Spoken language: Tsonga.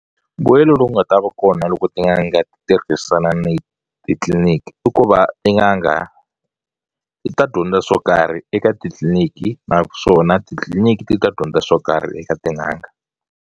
Mbuyelo lowu nga ta va kona loko tin'anga ti tirhisana ni titliliniki i ku va tin'anga ti ta dyondza swo karhi eka titliliniki naswona titliliniki ti ta dyondza swo karhi eka tin'anga.